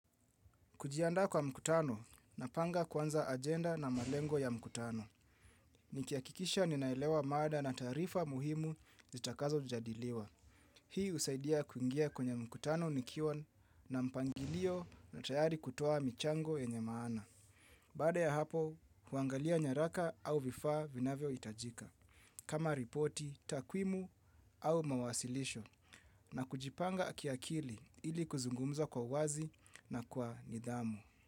Kujiandaa kwa mkutano napanga kwanza agenda na malengo ya mkutano. Nikihakikisha ninaelewa mada na taarifa muhimu zitakazojadiliwa. Hii husaidia kuingia kwenye mkutano nikiwa na mpangilio na tayari kutoa michango yenye maana. Baada ya hapo, huangalia nyaraka au vifaa vinavyohitajika. Kama ripoti, takwimu au mawasilisho na kujipanga kiakili ili kuzungumza kwa uwazi na kwa nidhamu.